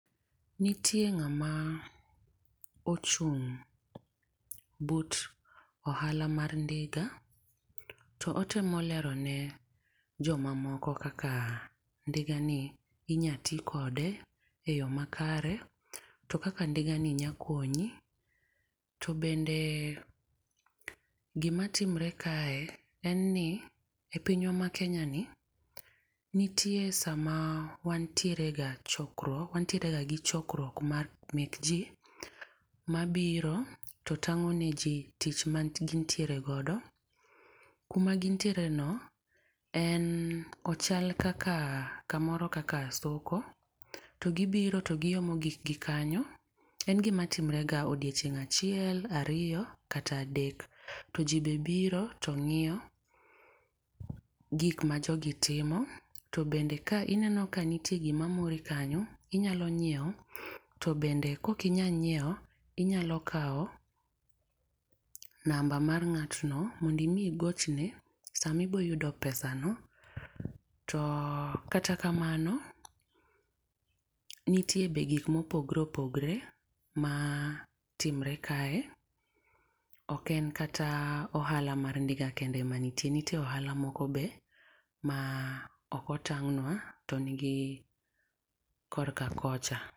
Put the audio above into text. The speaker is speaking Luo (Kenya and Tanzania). Nitie ng'ama ochung', but ohala mar ndiga to otemo lero ne jo mamoko kaka dinga ni inya ti kode e yo makare to kaka ndiga ni nya konyi to bende gi timre kae en ni e pinywa ma Kenya ni nitie sa ma wan tiere ga chokruok wantiere ga gi chokruok mar mek ji ma biro to tang'o ne ji tich ma gin tiere godo. Kuma gin tiere no en ochal ka moro kaka soko to gi biro to gi omo gik gi kanyo en gi matimre ga odiechieng' achiel, ariyo kata adek, to ji be biro to ng'iewo gik ma jogi timo to bende ka ineno ka nitie gi ma mori kanyo inyalo nyiewo to bende ka ok inya nyiewo inya kawo namba mar ng'at no mondo ibi igochne sa ma ibo yudo pesa no to kata kamano nitie be gik ma opogore opogore ma timre kae, ok en kata ohala mar ndiga kende mantie nitie ohala moko be ma ok otang'nwa to ni gi ko ka kocha.